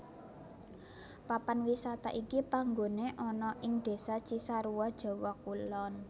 Papan wisata iki panggoné ana ing Désa Cisarua Jawa Kulon